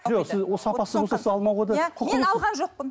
жоқ сіз ол сапасыз болса сіз алмауға да мен алған жоқпын